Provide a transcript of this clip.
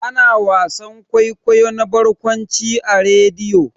Ana wasan kwaikwayo na barkwanci a rediyo.